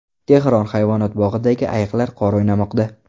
Tehron hayvonot bog‘idagi ayiqlar qor o‘ynamoqda .